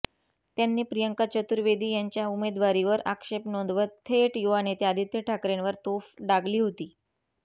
त्यांनी प्रियंका चतुर्वेदी यांच्या उमेदवारीवर अक्षेप नोंदवत थेट युवानेते आदित्य ठाकरेंवर तोफ डागली होती